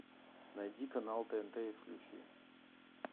найди канал тнт и включи